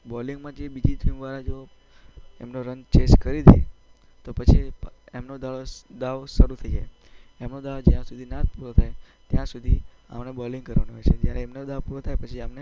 બોલિંગમાં જો બીજી ટીમવાળા એમના રન ચેઝ કરી દે તો પછી એમનો દાવ શરૂ થઈ જાય છે. એમનો દાવ જ્યાં સુધી ના પૂરો થાય ત્યાં સુધી આમને બોલિંગ કરવાનું હોય છે. જયારે એમનો દાવ પૂરો થાય પછી આમને